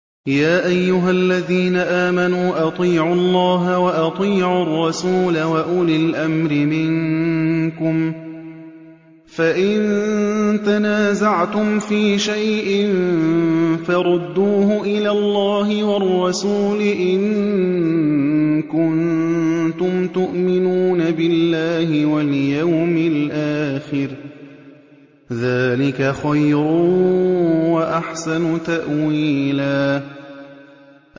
يَا أَيُّهَا الَّذِينَ آمَنُوا أَطِيعُوا اللَّهَ وَأَطِيعُوا الرَّسُولَ وَأُولِي الْأَمْرِ مِنكُمْ ۖ فَإِن تَنَازَعْتُمْ فِي شَيْءٍ فَرُدُّوهُ إِلَى اللَّهِ وَالرَّسُولِ إِن كُنتُمْ تُؤْمِنُونَ بِاللَّهِ وَالْيَوْمِ الْآخِرِ ۚ ذَٰلِكَ خَيْرٌ وَأَحْسَنُ تَأْوِيلًا